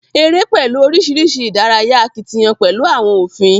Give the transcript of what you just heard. Eré pẹlú oríṣiríṣi ìdárayá akitiyán pẹlú àwọn òfin.